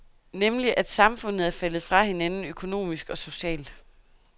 Nemlig at samfundet er faldet fra hinanden økonomisk og socialt.